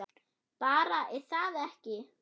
Bara, er það ekki?